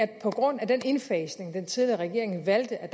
at på grund af den indfasning af dagpengereformen den tidligere regering valgte er